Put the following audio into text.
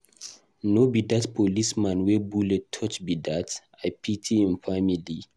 No be dat policeman wey bullet touch be dat? I pity im family.